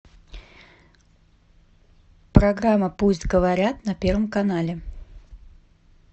программа пусть говорят на первом канале